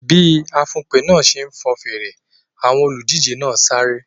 Bí afùnpè náà ṣe fọn fèrè, àwọn olùdíje náà sáré.